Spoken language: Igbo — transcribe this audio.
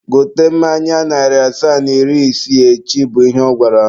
Gote mmanya narị asaa na iri isii echi! bụ ihe ọ gwara m.